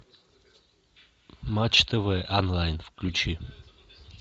матч тв онлайн включи